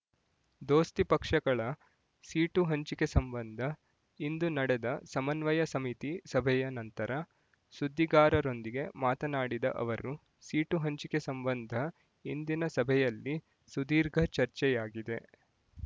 ದೋಸ್ತಿ ಪಕ್ಷಗಳ ಸೀಟು ಹಂಚಿಕೆ ಸಂಬಂಧ ಇಂದು ನಡೆದ ಸಮನ್ವಯ ಸಮಿತಿ ಸಭೆಯ ನಂತರ ಸುದ್ದಿಗಾರರೊಂದಿಗೆ ಮಾತನಾಡಿದ ಅವರು ಸೀಟು ಹಂಚಿಕೆ ಸಂಬಂಧ ಇಂದಿನ ಸಭೆಯಲ್ಲಿ ಸುದೀರ್ಘ ಚರ್ಚೆಯಾಗಿದೆ